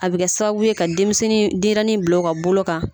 A bɛ kɛ sababu ye ka denmisɛnnin ka denɲɛrinnin bil'a ka bolo kan.